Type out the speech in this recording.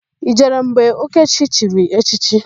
I jere mgbe Okechi chiri echichi?